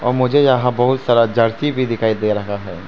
और मुझे यहां बहुत सारा जर्सी भी दिखाई दे रहा है।